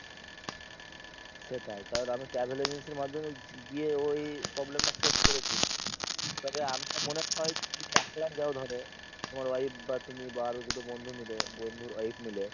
সেটাই কারণ আমি travel agencyর মাধ্যমে গিয়ে ঐ problem টা face করেছি। তবে আমার মনে হয় তুমি যদি একলাই যাও ধর, তোমার wife, তুমি বা আরো দুটো বন্ধু মিলে, বন্ধুর wife মিলে